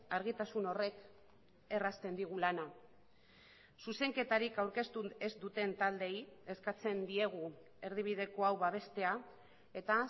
argitasun horrek errazten digu lana zuzenketarik aurkeztu ez duten taldeei eskatzen diegu erdibideko hau babestea eta